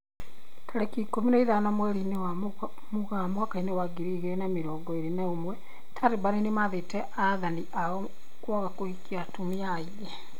Tariki ikũmi na ithano mweri-inĩ wa Mũgaa mwaka wa ngiri igĩrĩ na mĩrongo ĩrĩ na ũmwe, Taliban nĩmathĩte athani ao kwaga kũhikia atumia aingĩ